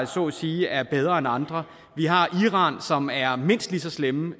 så at sige er bedre end andre vi har iran som er mindst lige så slemme